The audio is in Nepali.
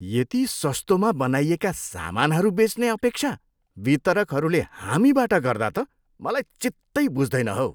यति सस्तोमा बनाइएका सामानहरू बेच्ने अपेक्षा वितरकहरूले हामीबाट गर्दा त मलाई चित्तै बुझ्दैन हौ।